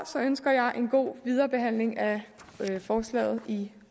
ønsker jeg en god viderebehandling af forslaget i